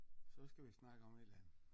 Så skal vi snakke om et eller andet